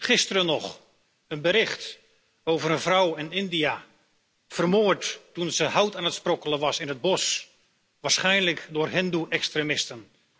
Gisteren nog een bericht over een vrouw in India, vermoord toen ze hout aan het sprokkelen was in het bos, waarschijnlijk door hindoe extremisten.